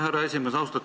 Härra esimees!